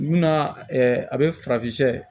Munna a bɛ farafin